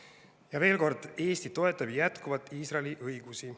Ja veel kord: Eesti toetab jätkuvalt Iisraeli õigusi.